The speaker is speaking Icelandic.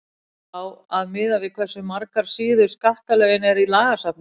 á að miða við hversu margar síður skattalögin eru í lagasafninu